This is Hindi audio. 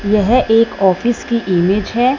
यह एक ऑफिस की इमेज है।